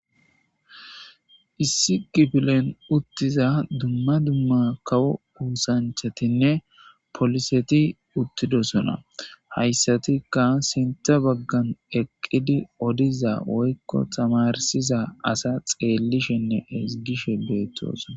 Issi gifilen uttiza dumma dumma kawo uusanchatinne poliseti uttidosona hayssatikka sinta baggan eqqidi odiza woykko tamarsiza asa xeellishenne hezgishe beettosona.